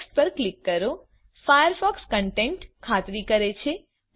next પર click કરો Firefox content ખાતરી કરે છે